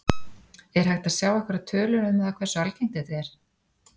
Er hægt að sjá einhverjar tölur um það hversu algengt þetta er?